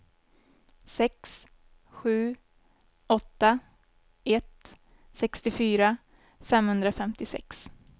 sex sju åtta ett sextiofyra femhundrafemtiosex